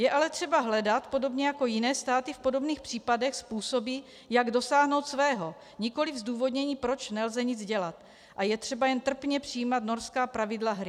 Je ale třeba hledat, podobně jako jiné státy v podobných případech, způsoby, jak dosáhnout svého, nikoliv zdůvodnění, proč nelze nic dělat a je třeba jen trpně přijímat norská pravidla hry.